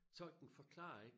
Tolken forklarer ikke